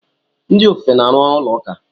Ndị ofufe na-arụ ụlọ ụka.